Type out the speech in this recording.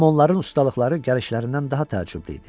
Amma onların ustalıqları gəlişlərindən daha təəccüblü idi.